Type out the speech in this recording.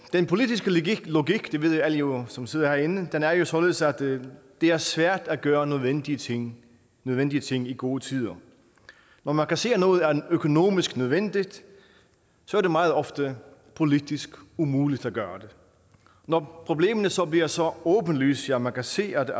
den politiske logik det ved alle jo som sidder herinde er jo således at det er svært at gøre nødvendige ting nødvendige ting i gode tider når man kan se at noget er økonomisk nødvendigt så er det meget ofte politisk umuligt at gøre det når problemerne så bliver så åbenlyse at man kan se at